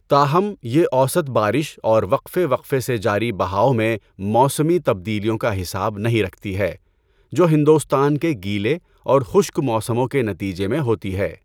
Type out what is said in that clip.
تاہم، یہ اوسط بارش اور وقفے وقفے سے جاری بہاؤ میں موسمی تبدیلیوں کا حساب نہیں رکھتی ہے جو ہندوستان کے گیلے اور خشک موسموں کے نتیجے میں ہوتی ہے۔